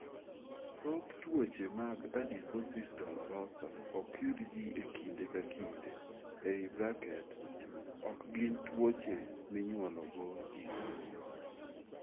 Thoth tuoche mag adiposis dolorosa ok yud ji e kinde ka kinde (ok gin tuoche minyuolo go ji).